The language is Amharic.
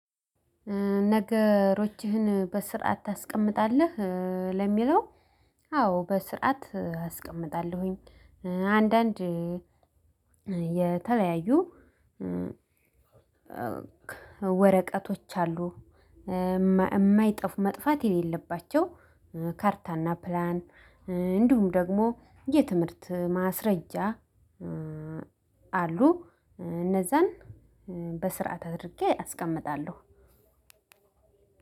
ነገሮችህን በስርዓት ታስቀምጣለህ ለሚለው አዎ በስርዓት አስቀምጣለሁኝ። አንዳንድ የተለያዩ ወረቀቶች አሉ፣ የማይጠፉ መጥፋት ያሌለባቸው ካርታና ፕላን፣ እንዲሁም ደግሞ የትምህርት ማስረጃ አሉ እነዛን በስርዓት አድርጌ አስቀምጣለሁ።